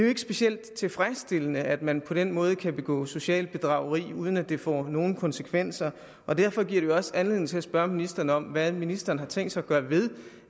ikke specielt tilfredsstillende at man på den måde kan begå socialt bedrageri uden at det får nogen konsekvenser og derfor giver det jo også anledning til at spørge ministeren om hvad ministeren har tænkt sig at gøre ved